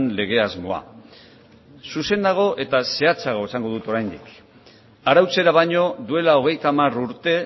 lege asmoa zuzenago eta zehatzago esango dut oraindik arautzera baino duela hogeita hamar urte